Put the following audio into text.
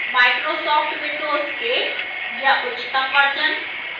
microsoft windows 8 या उच्चतम versions